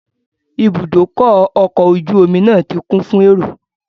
Ibùdókọ̀ ọkọ̀ ojú omi náà ti kún fún èrò